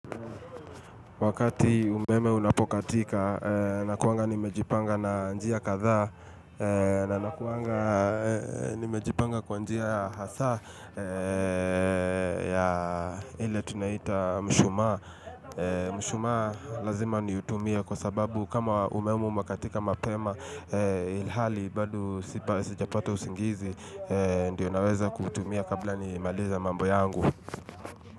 Wakati umeme unapokatika nakuwanga nimejipanga na njia kadhaa na nakuwanga nimejipanga kwa njia hasaa ya ile tunaita mshumaa. Mshumaa lazima ni utumie kwa sababu kama umeme umakatika mapema ilhali bado sijapata usingizi ndio naweza kuutumia kabla ni maliza mambo yangu.